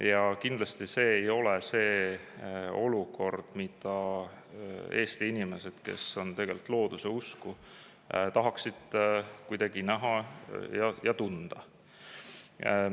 Ja kindlasti see ei ole olukord, mida Eesti inimesed, kes on tegelikult looduse usku, tahaksid kuidagi näha ja tunda.